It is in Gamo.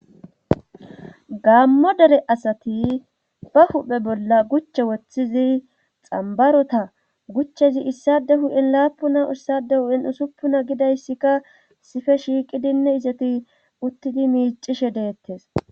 Gammo dere asati ba huphe bolla guche woththizi xambarota guchchezi issade hu'in laapuna issade hu'in usuppuna gidayssikka sife shiiqidinne izati uttidi miicishe deettes.